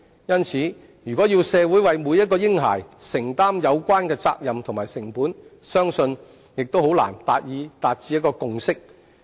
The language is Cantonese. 因此，我相信如果要社會為每名嬰孩承擔有關責任及成本，將難以達致共識。